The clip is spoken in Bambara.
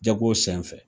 Jago sen fɛ